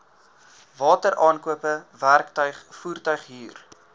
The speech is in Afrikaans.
wateraankope werktuig voertuighuur